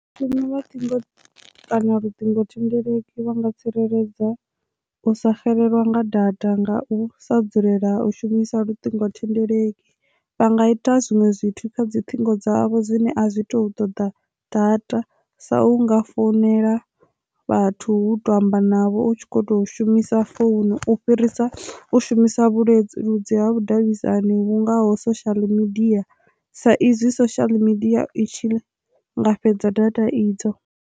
Shuma vhathu kana luṱingothendeleki vha nga tsireledza u sa xelelwa nga data ngau sa dzulela u shumisa luṱingothendeleki, vha nga ita zwinwe zwithu kha dzi ṱhingo dzavho dzine a zwi to ṱoḓa data sa unga founela vhathu to amba navho u tshi kho to shumisa founu u fhirisa u shumisa vhuleludzi ha vhudavhidzani vhungoho social media sa izwi social media i tshi nga fhedza data idzo.